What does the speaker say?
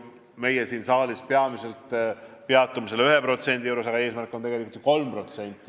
Meie siin saalis peatume peamiselt selle 1% juures, aga eesmärk on tegelikult 3%.